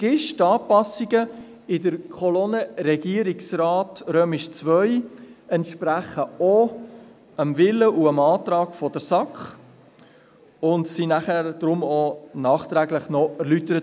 Wichtig ist: Die Anpassungen in der Kolonne «Regierungsrat II» entsprechen auch dem Willen und dem Antrag der SAK, und sie wurden vom Regierungsrat auch noch nachträglich erläutert.